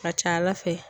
A ka ca ala fɛ